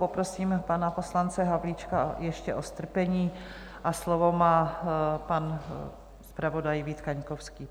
Poprosím pana poslance Havlíčka ještě o strpení a slovo má pan zpravodaj Vít Kaňkovský.